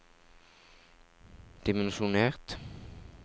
dimensjonert